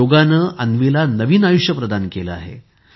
योगने अन्वीला नवीन आयुष्य प्रदान केले आहे